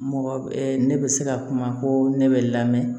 Mɔgɔ ne bɛ se ka kuma ko ne bɛ lamɛn